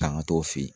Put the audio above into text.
Tanga t'o fɛ yen